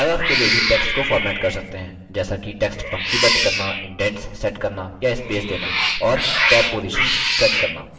आप paragraph के लिए भी text को format कर सकते हैं जैसा कि text पंक्तिबद्ध करना indents set करना या स्पेस देना और टैब positions set करना